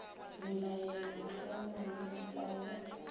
belaele mohlomongwe o sa go